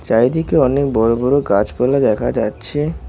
চাইদিকে অনেক বড় বড় গাছপালা দেখা যাচ্ছে।